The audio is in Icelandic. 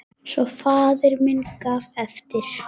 Svo faðir minn gaf eftir!